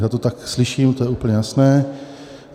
Já to tak slyším, to je úplně jasné.